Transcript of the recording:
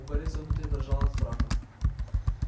у гарри всё внутри дрожало от страха